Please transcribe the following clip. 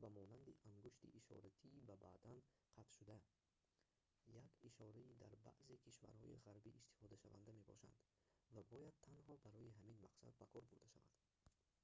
ба монанди ангушти ишоратии ба бадан қатшуда як ишораи дар баъзе кишварҳои ғарбӣ истифодашаванда мебошад ва бояд танҳо барои ҳамин мақсад ба кор бурда шавад